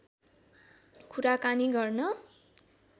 कुराकानी गर्न